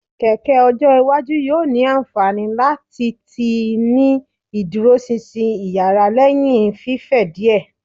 Keke ojo iwaju yoo ni anfani lati tii ni iduroṣinṣin iyara lẹhin fifẹ diẹ